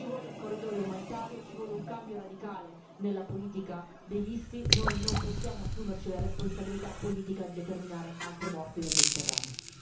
Ci vuole un corridoio umanitario, ci vuole un cambio radicale nella politica dei visti, noi non possiamo assumerci la responsabilità politica di determinare altre morti nel Mediterraneo.